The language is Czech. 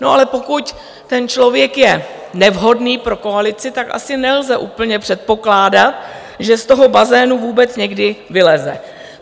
No ale pokud ten člověk je nevhodný pro koalici, tak asi nelze úplně předpokládat, že z toho bazénu vůbec někdy vyleze.